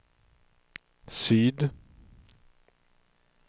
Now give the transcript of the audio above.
syd